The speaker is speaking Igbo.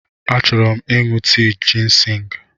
Achọrọ m ịṅụ tii jịnsịng.